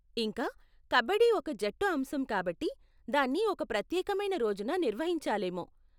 ఇంకా, కబడ్డీ ఒక జట్టు అంశం కాబట్టి దాన్ని ఒక ప్రత్యేకమైన రోజున నిర్వహించాలేమో.